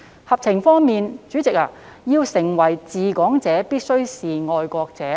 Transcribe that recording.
合情方面，代理主席，要成為"治港者"必須是"愛國者"。